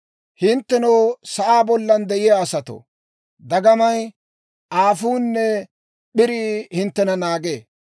Hinttenoo, sa'aa bollan de'iyaa asatoo, dagamay, aafuunne p'irii hinttena naagee.